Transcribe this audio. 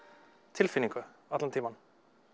tilfinningu allan tímann